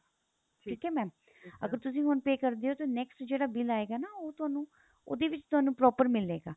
ਠੀਕ ਏ mam ਅਗਰ ਤੁਸੀਂ ਹੁਣ pay ਕਰਦੇ ਹੋ ਤਾਂ next ਜਿਹੜਾ bill ਆਏਗਾ ਨਾ ਉਹ ਤੁਹਾਨੂੰ ਉਹਦੇ ਵਿੱਚ ਤੁਹਾਨੂੰ proper ਮਿਲੇਗਾ